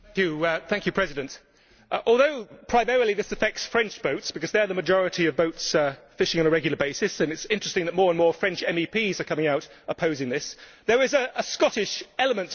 Mr President, although primarily this affects French boats, because they are the majority of boats fishing on a regular basis and it is interesting that more and more French MEPs are coming out opposing this there is a Scottish element to this.